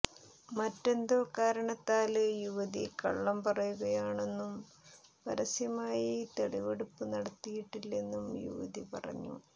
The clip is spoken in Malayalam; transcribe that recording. മറ്റെന്തോ കാരണത്താല് യുവതി കള്ളം പറയുകയാണെന്നും പരസ്യമായി തെളിവെടുപ്പ് നടത്തിയിട്ടില്ലെന്നും യുവതി പറഞ്ഞു